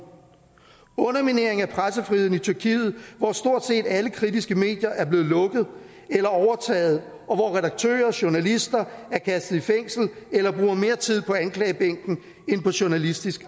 underminering af pressefriheden i tyrkiet hvor stort set alle kritiske medier er blevet lukket eller overtaget og hvor redaktører journalister er kastet i fængsel eller bruger mere tid på anklagebænken end på journalistisk